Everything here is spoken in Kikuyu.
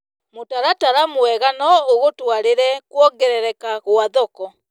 Mũtaratara mwega no ũgũtwarĩre kuongerereka kwa thoko.